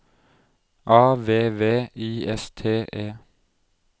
A V V I S T E